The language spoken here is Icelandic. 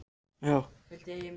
Ljósmyndirnar voru ekki að ljúga.